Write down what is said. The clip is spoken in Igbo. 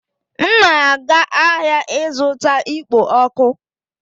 M na-aga ahịa ịzụta ikpo ọkụ